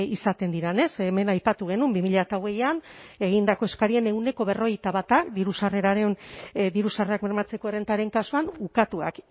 izaten diren ez hemen aipatu genuen bi mila hogeian egindako eskariaren ehuneko berrogeita bata diru sarrerak bermatzeko errentaren kasuan ukatuak